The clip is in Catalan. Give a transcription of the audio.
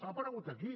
ha aparegut aquí